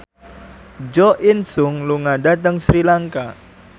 Jo In Sung lunga dhateng Sri Lanka